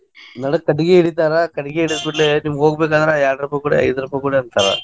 ನಡಕ್ ಕಟ್ಟಗಿ ಹಿಡಿತಾರ್ ಕಟ್ಟಾಗಿ ಹಿಡಕುಳೆ ನಿಮಗೆ ಹೋಗ್ಬೇಕಾದ್ರ ಎರಡ್ ರೂಪ್ಯಾ ಕೋಡ, ಐದ್ ರೂಪ್ಯಾ ಕೋಡ್ ಅಂತಾರ.